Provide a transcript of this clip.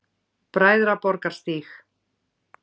Bræðraborgarstíg